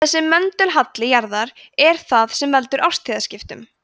þessi möndulhalli jarðar er það sem veldur árstíðaskiptum